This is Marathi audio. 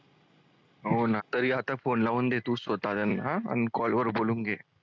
हो ना तरी आता phone लावून दे call वर बोलून घे.